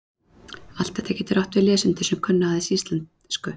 Allt þetta getur átt við lesendur sem kunna aðeins íslensku.